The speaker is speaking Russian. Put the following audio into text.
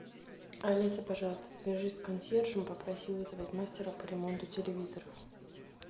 алиса пожалуйста свяжись с консьержем попроси вызвать мастера по ремонту телевизоров